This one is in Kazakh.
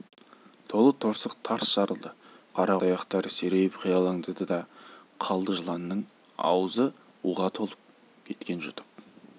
толы торсық тарс жарылды қарақұрт аяқтары серейіп қиралаңдады да қалды жыланның аузы уға толып кеткен жұтып